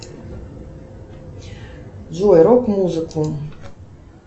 джой рок музыку